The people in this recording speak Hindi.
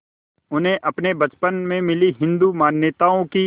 उन्हें अपने बचपन में मिली हिंदू मान्यताओं की